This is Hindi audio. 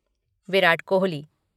विराट कोहली